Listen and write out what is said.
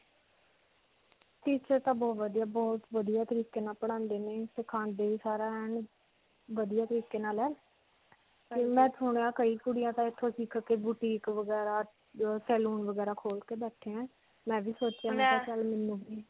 teacher ਤਾਂ ਬਹੁਤ ਵਧੀਆ, ਬਹੁਤ ਵਧੀਆ ਤਰੀਕੇ ਨਾਲ ਪੜ੍ਹਾਉਂਦੇ ਨੇ, ਸਿਖਾਉਂਦੇ ਨੇ ਵੀ ਸਾਰਾ ਐਨ ਵਧੀਆ ਤਰੀਕੇ ਨਾਲ ਹੈ. ਕੁੜੀਆਂ ਤਾਂ ਇੱਥੋਂ ਸਿਖਕੇ boutique ਵਗੈਰਾ, ਅਅ salon ਵਗੈਰਾ ਖੋਲ ਕੇ ਬੈਠੇ ਹੈ. ਮੈਂ ਵੀ ਸੋਚਿਆ ਮੈਂ ਕਿਹਾ ਚਲ ਮੈਨੂੰ ਵੀ.